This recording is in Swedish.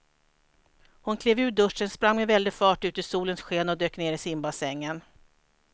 Hon klev ur duschen, sprang med väldig fart ut i solens sken och dök ner i simbassängen.